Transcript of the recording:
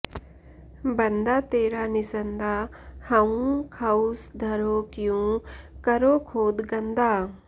बन्दा तेरा निसन्दा हउँ खउस धरों क्यों करो खोद गन्दा